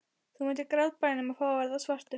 Þú myndir grátbæna um að fá að verða svartur.